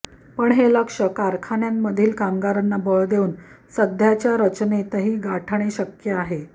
पण हे लक्ष्य कारखान्यांमधील कामगारांना बळ देऊन सध्याच्या रचनेतही गाठणे शक्य आहे